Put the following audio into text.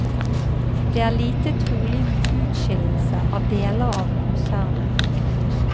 Det er lite trolig med utskillelse av deler av konsernet.